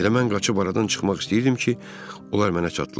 Elə mən qaçıb aradan çıxmaq istəyirdim ki, onlar mənə çatdılar.